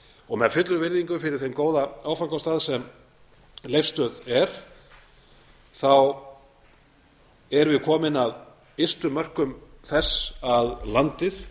og með fullri virðingu fyrir þeim góða áfangastað sem leifsstöð er erum við komin að ystu mörkum þess að landið